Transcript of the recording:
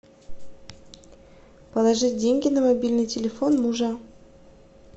положи деньги на мобильный телефон мужа